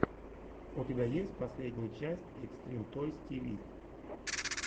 у тебя есть последняя часть экстрим тойс ти ви